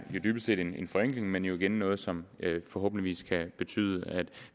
jo dybest set en forenkling men igen noget som forhåbentlig kan betyde at